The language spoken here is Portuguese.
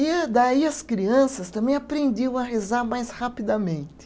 E daí as crianças também aprendiam a rezar mais rapidamente.